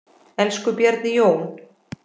Elsku Bjarni Jón.